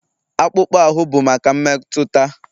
Akpụkpọ ahụ bụ maka mmetụta